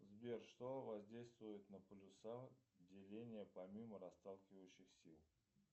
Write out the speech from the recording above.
сбер что воздействует на полюса деления помимо расталкивающих сил